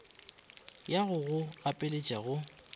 ya go go gapeletša go